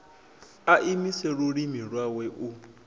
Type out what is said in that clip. a imise lulimi lwawe u